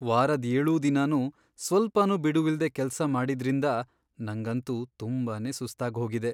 ವಾರದ್ ಏಳೂ ದಿನನೂ ಸ್ವಲ್ಪನೂ ಬಿಡುವಿಲ್ದೇ ಕೆಲ್ಸ ಮಾಡಿದ್ರಿಂದ ನಂಗಂತೂ ತುಂಬಾನೇ ಸುಸ್ತಾಗ್ಹೋಗಿದೆ.